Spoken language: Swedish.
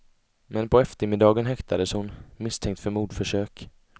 Men på eftermiddagen häktades hon, misstänkt för mordförsök.